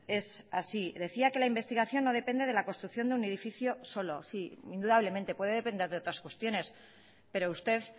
es así decía que la investigación no depende de la construcción de un edificio solo sí indudablemente puede depender de otras cuestiones pero usted